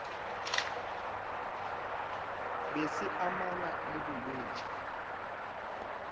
be se amana le bolwetši